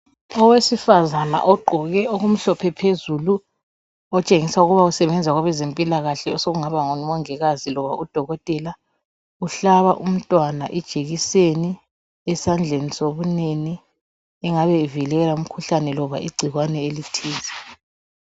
owesifazana ogqoke okumhlophe phezulu otshengisa ukuba usebenza kwabezempilakahle uhlaba umntwana ijekiseni esandleni sokunene engabe ivikela umkhuhlane loba igcikwane elithize